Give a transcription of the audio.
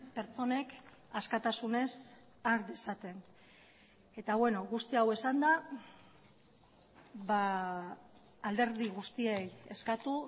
pertsonek askatasunez har dezaten eta beno guzti hau esanda alderdi guztiei eskatu